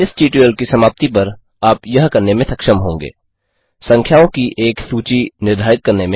इस ट्यूटोरियल की समाप्ति पर आप यह करने में सक्षम होंगे संख्याओं की एक सूची निर्धारित करने में